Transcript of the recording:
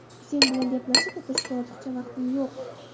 Sen bilan gaplashib o‘tirishga ortiqcha vaqtim yo‘q.